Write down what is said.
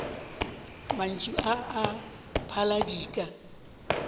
mantšu a a phala dika